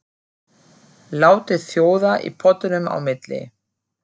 Látið sjóða í pottinum á milli.